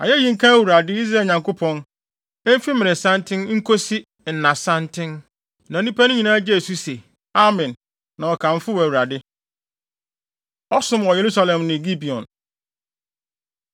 Ayeyi nka Awurade, Israel Nyankopɔn, emfi mmeresanten nkosi nnasanten. Na nnipa no nyinaa gyee so se, “Amen!” Na wɔkamfoo Awurade. Ɔsom Wɔ Yerusalem Ne Gibeon